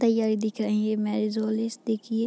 तैयारी देख रही है ये मैरेज हाॅल देखिये।